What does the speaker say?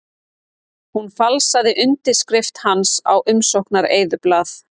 Hún falsaði undirskrift hans á umsóknareyðublað